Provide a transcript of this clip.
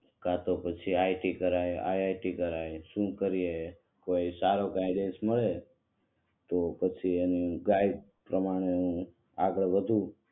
કે તો પછી આઇટી કરાય આઇઆઇટી કરાય શું કરીયે સારો ગાઈડેન્સ મળે તો પછી એનું ગાઈડ પ્રમાણે નું આગળ બધું